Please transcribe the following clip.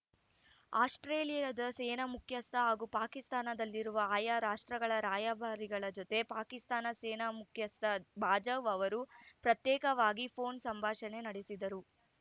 ಆಸ್ಪ್ರೇಲಿಯಾದ ಸೇನಾ ಮುಖ್ಯಸ್ಥ ಹಾಗೂ ಪಾಕಿಸ್ತಾನದಲ್ಲಿರುವ ಆಯಾ ರಾಷ್ಟ್ರಗಳ ರಾಯಭಾರಿಗಳ ಜೊತೆ ಪಾಕಿಸ್ತಾನ ಸೇನಾ ಮುಖ್ಯಸ್ಥ ಬಾಜ್ವಾ ಅವರು ಪ್ರತ್ಯೇಕವಾಗಿ ಫೋನ್‌ ಸಂಭಾಷಣೆ ನಡೆಸಿದರು